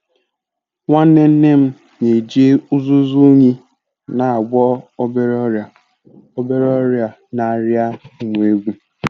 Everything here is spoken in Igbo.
Nwanne Nne m na-eji uzuzu unyi na-agwọ obere ọrịa obere ọrịa na aria ụmụ ewu.